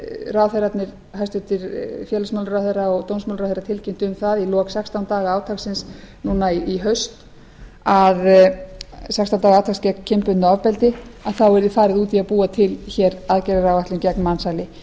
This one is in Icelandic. ráðherrarnir hæstvirts félagsmálaráðherra og dómsmálaráðherra tilkynntu um það í lok sextán daga átaksins núna í haust sextán daga átaks gegn kynbundnu ofbeldi að þá yrði farið út í að búa til aðgerðaáætlun gegn mansali